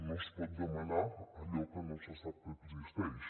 no es pot demanar allò que no se sap que existeix